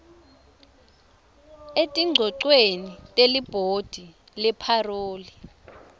etingcogcweni telibhodi lepharoli